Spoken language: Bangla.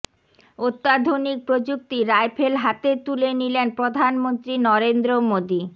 অত্যাধুনিক প্রযুক্তির রাইফেল হাতে তুলে নিলেন প্রধানমন্ত্রী নরেন্দ্র মোদী